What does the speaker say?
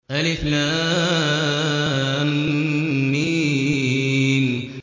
الم